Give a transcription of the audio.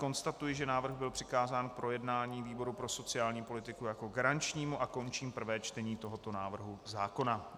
Konstatuji, že návrh byl přikázán k projednání výboru pro sociální politiku jako garančnímu, a končím prvé čtení toho návrhu zákona.